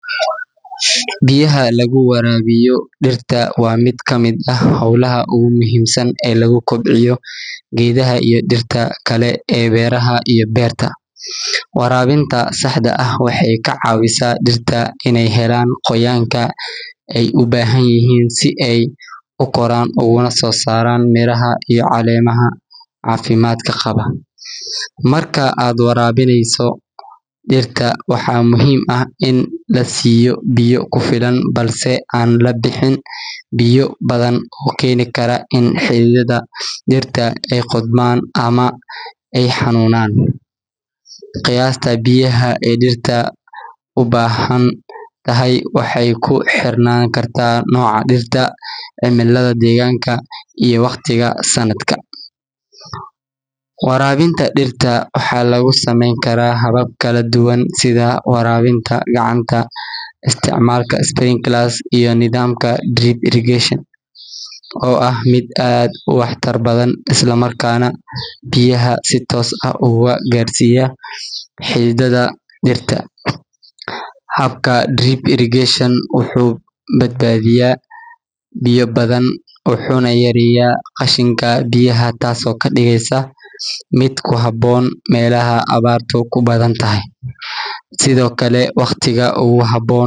Biyaha lagu waraabiyo dhirta waa mid ka mid ah howlaha ugu muhiimsan ee lagu kobciyo geedaha iyo dhirta kale ee beeraha iyo beerta. Waraabinta saxda ah waxay ka caawisaa dhirta inay helaan qoyaanka ay u baahan yihiin si ay u koraan uguna soo saaraan miraha iyo caleemaha caafimaadka qaba. Marka aad waraabinayso dhirta, waxaa muhiim ah in la siiyo biyo ku filan, balse aan la bixin biyo badan oo keeni kara in xididdada dhirta ay qudhmaan ama ay xanuunaan. Qiyaasta biyaha ee dhirta u baahan tahay waxay ku xirnaan kartaa nooca dhirta, cimilada deegaanka, iyo waqtiga sanadka. Waraabinta dhirta waxaa lagu samayn karaa habab kala duwan sida waraabinta gacanta, isticmaalka sprinklers, iyo nidaamka drip irrigation oo ah mid aad u waxtar badan isla markaana biyaha si toos ah ugu gaarsiiya xididdada dhirta. Habka drip irrigation wuxuu badbaadiyaa biyo badan, wuxuuna yareeyaa qashinka biyaha, taasoo ka dhigaysa mid ku habboon meelaha abaartu ku badan tahay. Sidoo kale, waqtiga ugu habboon.